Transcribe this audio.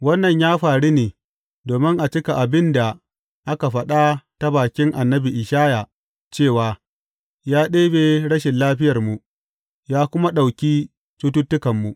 Wannan ya faru ne domin a cika abin da aka faɗa ta bakin annabi Ishaya cewa, Ya ɗebi rashin lafiyarmu, ya kuma ɗauki cututtukanmu.